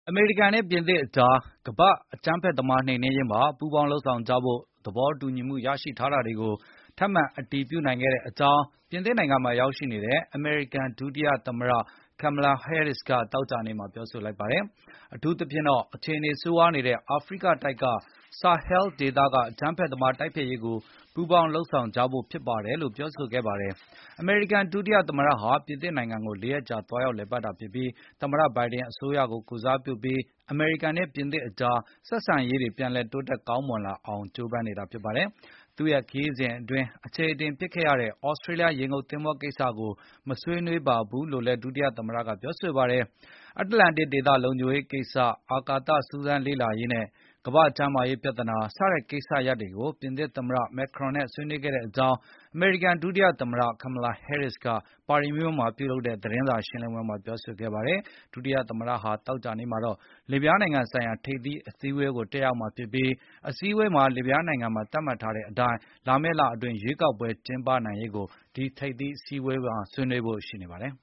အမေရိကန် နဲ့ပြင်သစ်အကြား ကမ္ဘာ့အကြမ်းဖက်သမားနှိမ်နင်းရေးမှာ ပူးပေါင်းလုပ်ဆောင်ကြဖို့ သဘောတူညီမှုရရှိထားတာကိုထပ်မံအတည်ပြုနိုင်ခဲ့ကြောင်း ပြင်သစ်နိုင်ငံမှာရောက်ရှိနေတဲ့အမေရိကန်ဒုတိယ သမတ Kamala Harris ကသောကြာနေ့မှာပြောဆိုလိုက်ပါတယ်။ အထူးသဖြင့်တော့ အခြေအနေဆိုးရွားနေတဲ့ အာဖရိကတိုက် Sahel ဆာဟဲ ဒေသကအကြမ်းဖက် သမားတိုက်ဖျက်ရေးတွေကိုပူးပေါင်းလုပ်ဆောင်ကြဖို့ဖြစ်ပါတယ်လို့ ပြောကြားခဲ့ပါတယ်။ အမေရိကန် ဒုတိယ သမတဟာ ပြင်သစ်နိုင်ငံကို ၄ ရက်ကြာသွားရောက်လည်ပတ်တာဖြစ်ပြီး သမတ ဘိုင်ဒင်အစိုးရကိုကိုယ်စားပြုပြီး အမေရိကန်နဲ့ပြင်သစ်အကြား ဆက်ဆံရေးတွေပြန်လည်တိုးတက် ကောင်းမွန်လာအောင်ကြိုးပမ်းနေတာဖြစ်ပါတယ်။ သူ့ရဲ့ခရီးစဉ်အတွင်း အခြေအတင်ဖြစ်ခဲ့ရတဲ့ သြစတြေလျ ရေငုတ်သင်္ဘောကိစ္စ မဆွေးနွေးပါဘူးလို့ လည်း ဒုသမတ Harris ကပြောဆိုပါတယ်။ အတ္တလန်တိတ်ဒေသ လုံခြုံရေးကိစ္စ၊ အာကာသစူးစမ်းလေ့လာရေး၊ ကမ္ဘာကျန်းမာရေးပြဿနာ စတဲ့ကိစ္စရပ်တွေကို ပြင်သစ်သမ္မတ Macron နဲ့ဆွေးနွေးခဲ့ကြောင်း အမေရိကန်ဒုတိယ သမတ Kamala Harris က ပါရီမြို့ မှာပြုလုပ်တဲ့ သတင်းစာရှင်းလင်းပွဲမှာ ပြောဆိုခဲ့ပါတယ်။ ဒုတိယသမ္မတဟာ သောကြာနေ့မှာတော့ လစ်ဗျားနိုင်ငံဆိုင်ရာထိပ်သီးအစည်းဝေးကို တက်ရောက် မှာဖြစ်ပြီး၊ ဒီအစည်းအဝေးမှာ လစ်ဗျားနိုင်ငံမှာ သတ်မှတ်ထားတဲ့အတိုင်း လာမယ့်လအတွင်း ရွေးကောက်ပွဲကျင်းပနိုင်ရေးကို ဒီထိပ်သီးအစည်းဝေမှာဆွေးနွေးဖို့ရှိပါတယ်